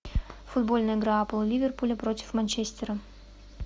футбольная игра апл ливерпуля против манчестера